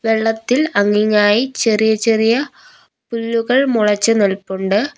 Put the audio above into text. വെള്ളത്തിൽ അങ്ങിങ്ങായി ചെറിയ ചെറിയ പുല്ലുകൾ മുളച്ച് നിൽപ്പുണ്ട്.